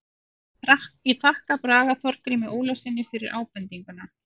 Ég þakka Braga Þorgrími Ólafssyni fyrir ábendinguna.